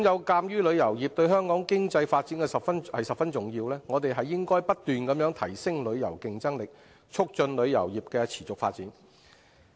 鑒於旅遊業對香港的經濟發展十分重要，我們應該不斷提升旅遊競爭力，促進旅遊業的持續發展。